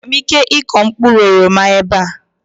Enwere m ike ịkụ mkpụrụ oroma ebe a?